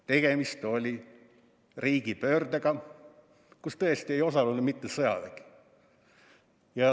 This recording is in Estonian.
Tegemist oli riigipöördega, kus tõesti ei osalenud mitte sõjavägi.